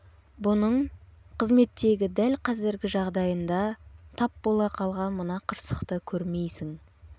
бұның қызметтегі дәл қазіргі жағдайында тап бола қалған мына қырсықты көрмейсің